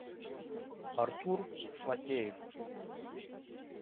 артур фатеев